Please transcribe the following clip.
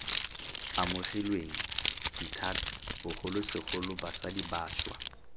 amogilweng dithata bogolosegolo basadi bašwa